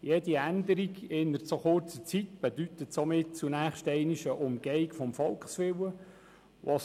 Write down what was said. Jede Änderung innerhalb so kurzer Zeit bedeutet somit zunächst ein Umgehen des Volkswillens.